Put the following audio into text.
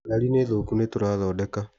Ngari nĩ thũku nĩtũrathondeka.